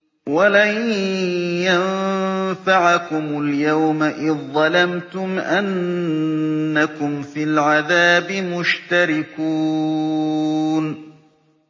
وَلَن يَنفَعَكُمُ الْيَوْمَ إِذ ظَّلَمْتُمْ أَنَّكُمْ فِي الْعَذَابِ مُشْتَرِكُونَ